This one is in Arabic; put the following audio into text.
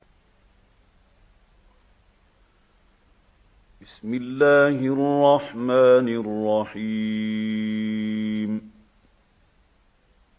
بِسْمِ اللَّهِ الرَّحْمَٰنِ الرَّحِيمِ